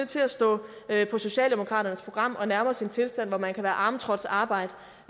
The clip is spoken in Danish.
til at stå på socialdemokraternes program at nærme os en tilstand hvor man kan være arm trotz arbeit